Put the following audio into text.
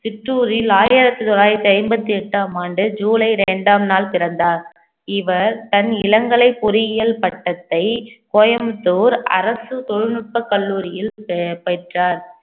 சிற்றூரில் ஆயிரத்தி தொள்ளாயிரத்தி ஐம்பத்தி எட்டாம் ஆண்டு ஜூலை ரெண்டாம் நாள் பிறந்தார் இவர் தன் இளங்கலை பொறியியல் பட்டத்தை கோயம்புத்தூர் அரசு தொழில்நுட்பக் கல்லூரியில் பெ~ பெற்றார்